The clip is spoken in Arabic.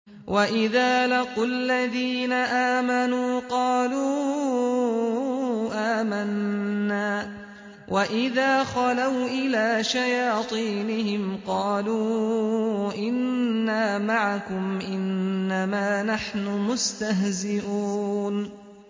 وَإِذَا لَقُوا الَّذِينَ آمَنُوا قَالُوا آمَنَّا وَإِذَا خَلَوْا إِلَىٰ شَيَاطِينِهِمْ قَالُوا إِنَّا مَعَكُمْ إِنَّمَا نَحْنُ مُسْتَهْزِئُونَ